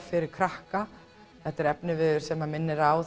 fyrir krakka þetta er efniviður sem minnir á